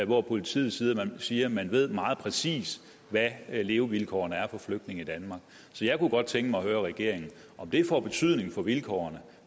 hvor politiet siger at man ved meget præcist hvad levevilkårene er for flygtninge i danmark så jeg kunne godt tænke mig at høre regeringen om det får betydning for vilkårene